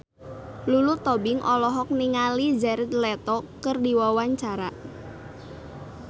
Lulu Tobing olohok ningali Jared Leto keur diwawancara